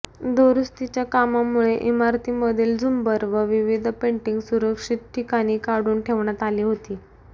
दुरुस्तीच्या कामामुळे इमारतीमधील झुंबर व विविध पेंटिंग सुरक्षित ठिकाणी काढून ठेवण्यात आली होती